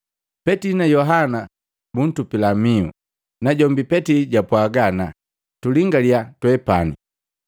Petili na Yohana buntupila mihu, najombi Petili jwapwaga ana, “Tulingalia twepani!”